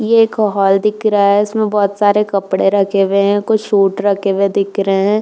ये एक हाल दिख रहा है। इसमें बहुत सारे कपड़े रखे हुए हैं। कुछ सूट रखे हुए दिख रहे हैं।